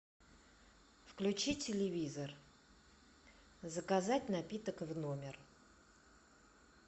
включи телевизор заказать напиток в номер